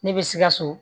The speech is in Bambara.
Ne bɛ sikaso